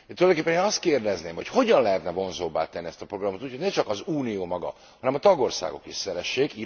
Tulajdonképpen én azt kérdezném, hogy hogyan lehetne vonzóbbá tenni ezt a programot úgy, hogy ne csak az Unió maga, hanem a tagországok is szeressék.